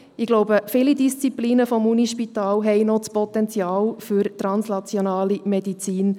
Ich glaube, viele Disziplinen des Universitätsspitals haben das Potenzial für translationale Medizin.